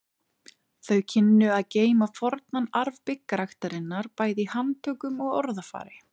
Þau kynnu að geyma fornan arf byggræktarinnar bæði í handtökum og orðafari.